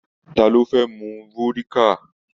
Ta ló fẹ́ mu vódíkà?